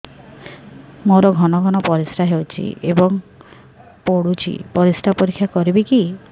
ମୋର ଘନ ଘନ ପରିସ୍ରା ହେଉଛି ଏବଂ ପଡ଼ୁଛି ପରିସ୍ରା ପରୀକ୍ଷା କରିବିକି